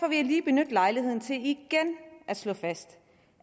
jeg lige benytte lejligheden til igen at slå fast